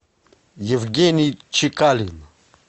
евгений чекалин